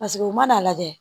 Paseke u man'a lajɛ